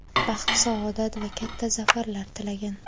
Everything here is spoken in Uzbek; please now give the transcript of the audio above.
baxt-saodat va katta zafarlar tilagan.